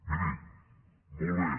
miri molt bé